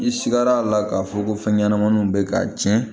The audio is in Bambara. I sigara a la k'a fɔ ko fɛn ɲɛnamaninw bɛ k'a tiɲɛ